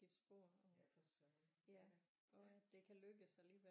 Ja for søren ja da ja